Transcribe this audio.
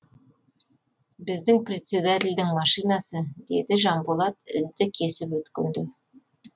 біздің председательдің машинасы деді жанболат ізді кесіп өткенде